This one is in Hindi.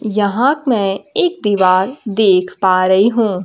यहाक मैं एक दिवार देख पा रही हूँ।